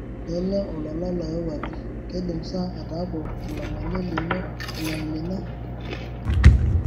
lele olola loyawuaki ,keidim saa ataaku olangole loino leimina